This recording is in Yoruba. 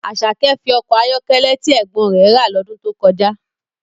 Asake fi ọkọ̀ ayọ́kẹ́lẹ́ tí ẹ̀gbọ́n rẹ̀ obìnrin rà lọ́dún tó kọjá